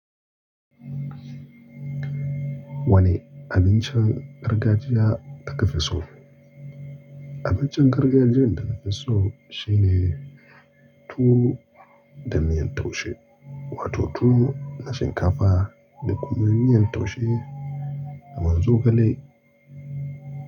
Wane abincin gargajiya kake fi so? Abincin gargajiyan da na fi so shine tuwo da miyan taushe wato tuwo na shinkafa da kuma miyan taushe da man zogale.